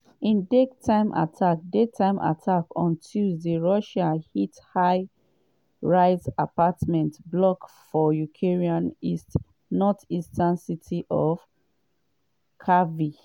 in daytime attack daytime attack on tuesday russia hit high-rise apartment block for ukraine northeastern city of kharkiv.